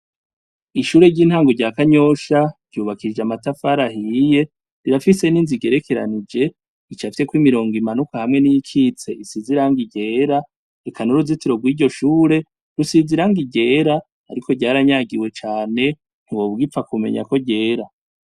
Ishure ry'intango rya kanyosha ryubakishijwe amatafari ahiye rirafise ninzu igerekeranije icafyeko imirongo imanuka hamwe niyikika isize irangi ryera eka nuruzitiro rusize irangi ryera Ariko ryaranyigiwe kuburyo utoba ugipfa kumenya ko ryera.